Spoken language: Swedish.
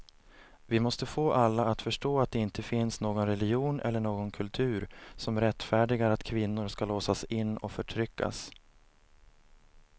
Vi måste få alla att förstå att det inte finns någon religion eller någon kultur som rättfärdigar att kvinnor ska låsas in och förtryckas.